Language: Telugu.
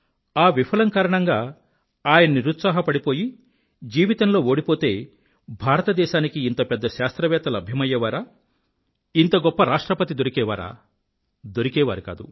ఆ విఫలం కారణంగా ఆయన నిరుత్సాహపడిపోయి జీవితంలో ఓడిపోతే భారతదేశానికి ఇంత పెద్ద శాస్త్రవేత్త లభ్యమయ్యేవారా ఇంత గొప్ప రాష్ట్రపతి దొరికేవారా దొరికేవారు కాదు